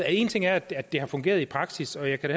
en ting er at det har fungeret i praksis og jeg kan